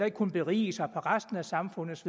ikke kunne berige sig på resten af samfundets